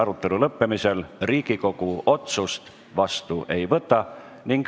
Arutelu lõppemisel Riigikogu otsust vastu ei võta.